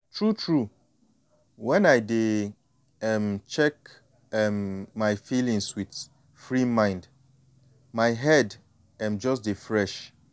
true true when i dey um check um my feelings with free mind my head um just dey fresh